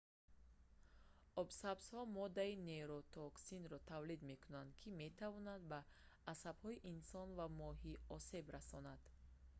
обсабзҳо моддаи нейротоксинро тавлид мекунанд ки метавонад ба асабҳои инсон ва моҳӣ осеб расонад